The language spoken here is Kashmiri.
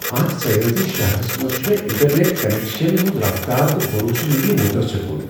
اتھ سیاحتی شہرس منٛز چھےٚ مےٚ انٹرنیٹ کنیکشنن ہنٛز رفتار تہٕ بھروسہٕ منٛدی متاثر کن۔